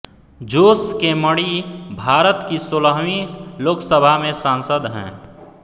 जोस K Mani Bharat की सोलहवीं लोकसभा में सांसद हैं